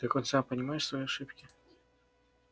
ты хоть сам понимаешь свои ошибки